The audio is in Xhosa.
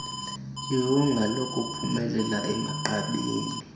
iwonga lokuphumelela emagqabini